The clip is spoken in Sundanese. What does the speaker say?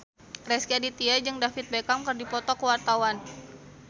Rezky Aditya jeung David Beckham keur dipoto ku wartawan